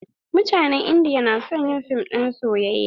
Mutanen indiya na son yin fim na soyayya.